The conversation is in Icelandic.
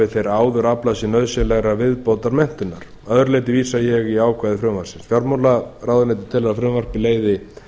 þeir áður aflað sér nauðsynlegrar viðbótarmenntunar að öðru leyti vísa ég í ákvæði frumvarpsins fjármálaráðuneytið telur að frumvarpið leiði